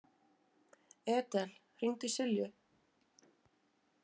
Edel, hringdu í Silju.